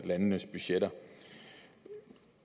landenes budgetter